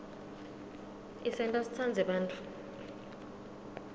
isenta sitsandze bantfu